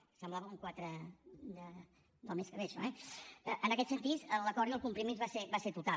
semblava un quatre del mes que ve això eh en aquest sentit l’acord i el compromís va ser total